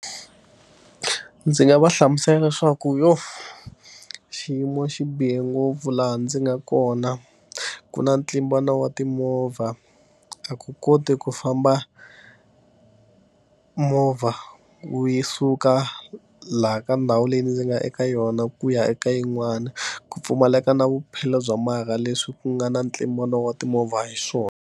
Ndzi nga va hlamusela leswaku yo xiyimo xi bihe ngopfu laha ndzi nga kona, ku na ntlimbano wa timovha. A ku koti ku famba movha wu yi suka laha ka ndhawu leyi ndzi nga eka yona ku ya eka yin'wana, ku pfumaleka na vuphelo bya marha leswi ku nga na ntlimbano wa timovha hi swona.